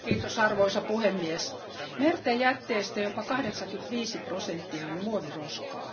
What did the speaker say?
Arvoisa puhemies, merten jätteistä jopa 85 prosenttia on muoviroskaa.